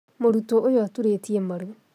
Mũrutwo ũyũaturĩtie maru